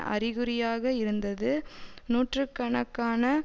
அறிகுறியாக இருந்தது நூற்று கணக்கான